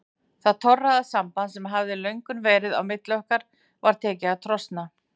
Það torræða samband sem hafði löngum verið á milli okkar var tekið að trosna.